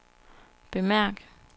bemærk